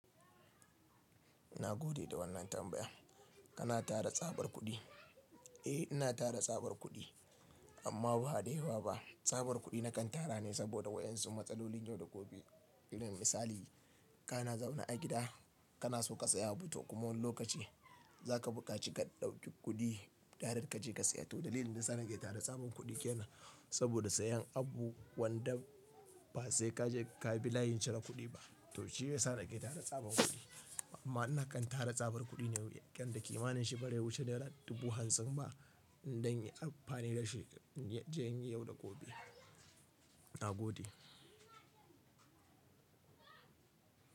Ina gode da wannan tambaya. Kana tara tsabar kuɗi? Eh ina tara tsabar kuɗi amma ba da yawa ba. Tsabar kuɗi na kan tara ne saboda waɗansu matsalolin yau da gobe. Don misali ka na zaune a gida, ka na so ka saya abu toh kuma wani lokaci za ka bukaci ka ɗauki kuɗi direct ka je ka saya. To dalilin da yana sake tara tsabar kuɗi kenan. Saboda sayen abu wanda ba sai ka je ka bi layin cire kuɗi ba. To shi ya sake tara tsabar kuɗi. Amma ina kan tara tsabar kuɗi ne wajen da kimanin shi ba zai wuce naira dubu hanzan ba inda zan yi amfani da shi yau da gobe. Ina gode.